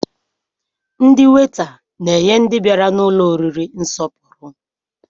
Ndị weta na-enye ndị bịara n'ụlọ oriri nsọpụrụ